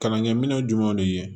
Kalankɛminɛn jumɛnw de ye